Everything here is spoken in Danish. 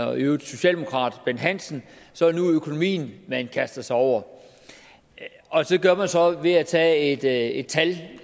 og i øvrigt socialdemokrat bent hansen så er det nu økonomien man kaster sig over det gør man så ved at tage et tal